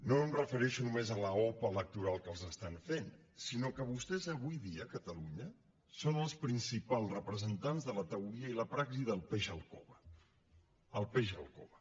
no em refereixo només a l’opa electoral que els estan fent sinó que vostès avui dia a catalunya són els principals representants de la teoria i la praxi del peix al cove el peix al cove